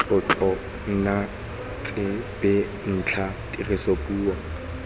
tlotlo nna tsebentlha dirisa puo